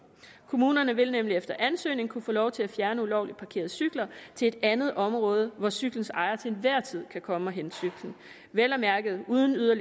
kommunerne vil efter ansøgning nemlig kunne få lov til at fjerne ulovligt parkerede cykler til et andet område hvor cyklens ejer til enhver tid kan komme og hente cyklen vel at mærke uden at